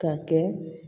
Ka kɛ